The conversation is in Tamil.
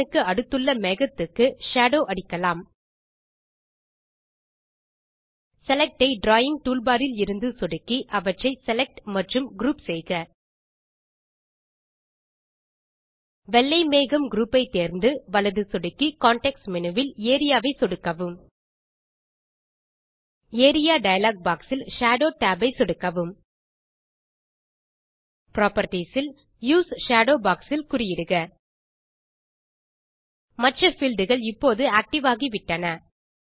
சூரியன் க்கு அடுத்துள்ள மேகத்துக்கு ஷேடோ அடிக்கலாம் செலக்ட் ஐ டிராவிங் டூல்பார் இலிருந்து சொடுக்கி அவற்றை செலக்ட் மற்றும் குரூப் செய்க வெள்ளை மேகம் குரூப் ஐ தேர்ந்து வலது சொடுக்கி கான்டெக்ஸ்ட் மேனு வில் ஏரியா ஐ சொடுக்கவும் ஏரியா டயலாக் பாக்ஸ் இல் ஷேடோ tabஐ சொடுக்கவும் புராப்பர்ட்டீஸ் இல் யூஎஸ்இ ஷேடோ பாக்ஸ் இல் குறியிடுக மற்ற பீல்ட் கள் இப்போது ஆக்டிவ் ஆகிவிட்டன